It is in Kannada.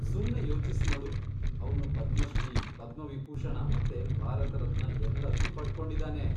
ಸುಮ್ನೇ ಯೋಚಿಸ್ನೋಡು, ಅವ್ನು ಪದ್ಮಶ್ರೀ, ಪದ್ಮವಿಭೂಷಣ ಮತ್ತೆ ಭಾರತರತ್ನ ಎಲ್ಲದ್ನೂ ಪಡ್ಕೊಂಡಿದಾನೆ.